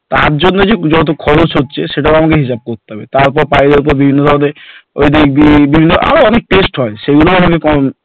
তার জন্য যত খরচ হচ্ছে সেটা আমাকে হিসাব করতে হচ্ছে, তারপর pile এর যে বিভিন্ন ধরণের থাকে আর অনেক test হয় সেগুলো আমাদের